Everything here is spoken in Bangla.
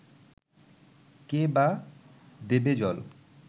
কে-বা দেবে জল